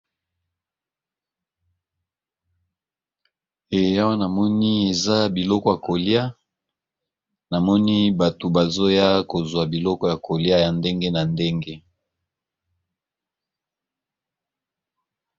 Eya wanamoni eza biloko ya kolia namoni bato bazoya kozwa biloko ya kolia ya ndenge na ndenge.